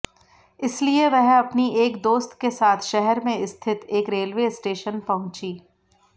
इसलिए वह अपनी एक दोस्त के साथ शहर में स्थित एक रेलवे स्टेशन पहुंची